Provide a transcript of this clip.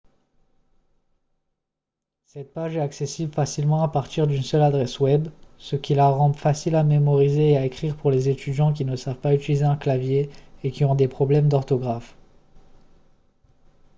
cette page est accessible facilement à partir d'une seule adresse web ce qui la rend facile à mémoriser et à écrire pour les étudiants qui ne savent pas utiliser un clavier et qui ont des problèmes d'orthographe